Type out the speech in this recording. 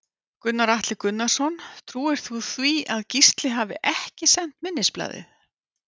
Gunnar Atli Gunnarsson: Trúir þú því að Gísli hafi ekki sent minnisblaðið?